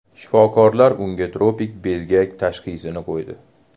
Shifokorlar unga tropik bezgak tashxisini qo‘ydi.